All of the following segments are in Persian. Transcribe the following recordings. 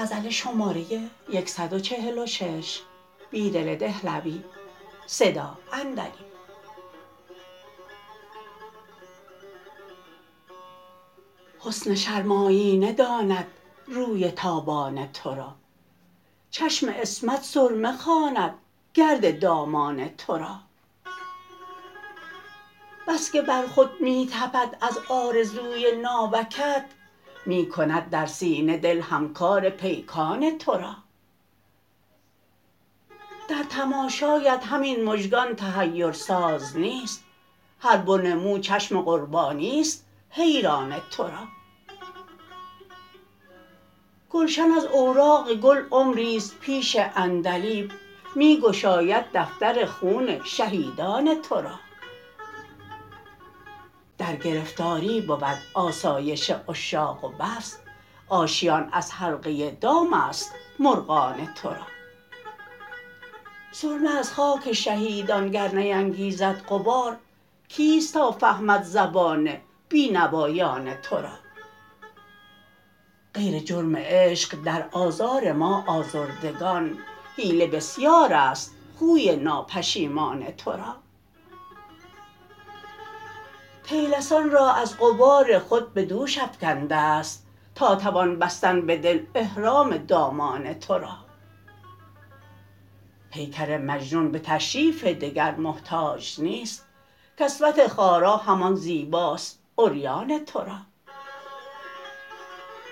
حسن شرم آیینه داند روی تابان ترا چشم عصمت سرمه خواندگرد دامان تو را بسکه بر خود می تپد از آرزوی ناوکت می کند در سینه دل هم کار پیکان تو را در تماشایت همین مژگان تحیر ساز نیست هر بن مو چشم قربانی ست حیران تو را گلشن از اوراق گل عمری ست پیش عندلیب می گشاید دفتر خون شهیدان تو را درگرفتاری بود آسایش عشاق و بس آشیان از حلقه دام است مرغان تو را سرمه از خاک شهیدان گر نینگیزد غبار کیست تا فهمد زبان بینوایان تو را غیر جرم عشق در آزار ما آزردگان حیله بسیار است خوی ناپشیمان تو را طیلسان را از غبار خود به دوش افکندنست تا توان بستن به دل احرام دامان تو را پیکر مجنون به تشریف دگرمحتاج نیست کسوت خارا همان زیباست عریان تو را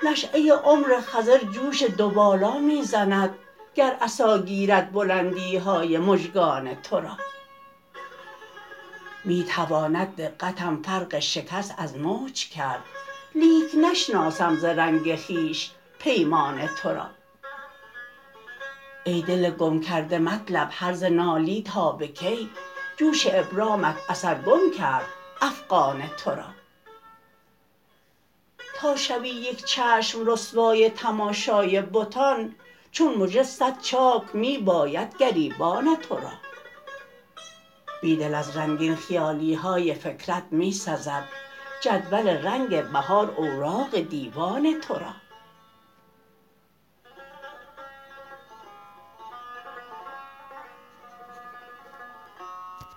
نشیه عمر خضر جوش دوبالا می زند گر عصا گیرد بلندیهای مژگان تو را می تواند دقتم فرق شکست از موج کرد لیک نشناسم ز رنگ خویش پیمان تو را ای دل گم کرده مطلب هرزه نالی تا به کی جوش ابرامت اثرگم کرد افغان تو را تا شوی یک چشم رسوای تماشای بتان چون مژه صد چاک می بایدگریبان تو را بیدل از رنگین خیالیهای فکرت می سزد جدول رنگ بهار اوراق دیوان تو را